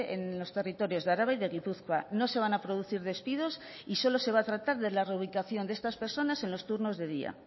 en los territorios de araba y de gipuzkoa no se van a producir despidos y solo se va a tratar de la reubicación de estas personas en los turnos de día